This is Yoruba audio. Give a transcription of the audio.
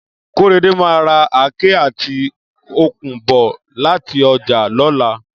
Kóredé máa ra àáké àti okùn bọ̀ láti ọjà lọ́la